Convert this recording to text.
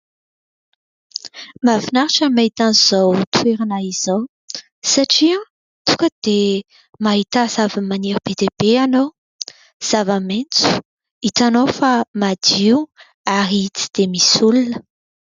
MAhafinaritra ny mahita an'izao toerana izao satria mahita tonga dia mahita zavamaniry be dia be ianao, zava-maitso, hitanao fa madio ary tsy dia misy olona.